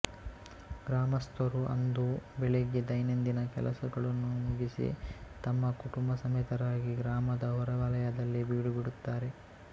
ಗ್ರಾಮಸ್ಥರು ಅಂದು ಬೆಳಿಗ್ಯೆ ದೈನಂದಿನ ಕೆಲಸಗಳನ್ನು ಮುಗಿಸಿ ತಮ್ಮ ಕುಟುಂಬಸಮೇತರಾಗಿ ಗ್ರಾಮದ ಹೊರವಲಯದಲ್ಲಿ ಬೀಡುಬಿಡುತ್ತಾರೆ